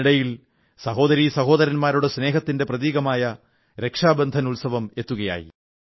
ഇതിനിടയിൽ സഹോദരീ സഹോദരൻാരുടെ സ്നേഹത്തിന്റെ പ്രതീകമായ രക്ഷാബന്ധൻ ഉത്സവം എത്തുകയായി